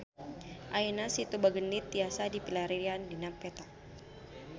Ayeuna Situ Bagendit tiasa dipilarian dina peta